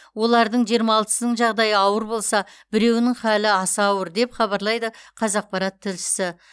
олардың жиырма алтысының жағдайы ауыр болса біреуінің халі аса ауыр деп хабарлайды қазақпарат тілшісі